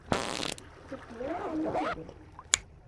ти килла на ютубе